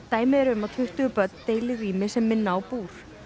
dæmi eru um að tuttugu börn deili rými sem minnir á búr